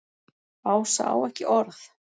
Ása á ekki orð.